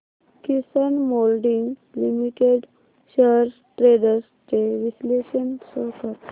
किसान moulding limited shares trends चे विश्लेषण show कर